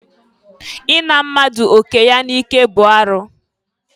I na mmadụ oke ya n'ike bụ arụ.